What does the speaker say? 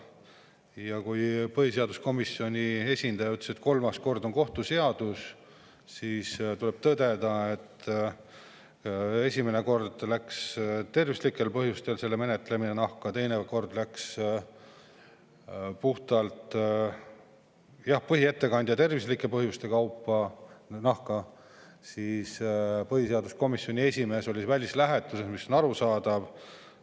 Ja kui põhiseaduskomisjoni esindaja ütles, et on kohtuseadus, siis tuleb tõdeda, et esimene kord läks selle menetlemine tervislike põhjuste nahka, teine kord läks see puhtalt, jah, põhiettekandja tervislike põhjuste nahka ja siis oli põhiseaduskomisjoni esimees välislähetuses, mis on arusaadav.